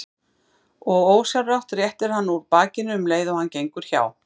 Og ósjálfrátt réttir hann úr bakinu um leið og hann gengur hjá.